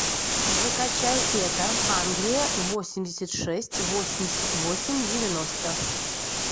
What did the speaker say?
закачай это англия восемьдесят шесть восемьдесят восемь девяносто